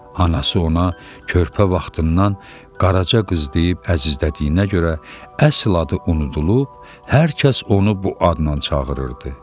Anası ona körpə vaxtından Qaraca qız deyib əzizlədiyinə görə əsl adı unudulub, hər kəs onu bu adla çağırırdı.